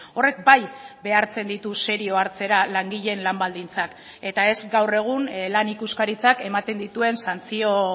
horrek bai behartzen ditu serio hartzera langileen lan baldintzak eta ez gaur egun lan ikuskaritzak ematen dituen santzio